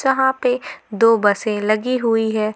जहां पे दो बसे लगी हुई है।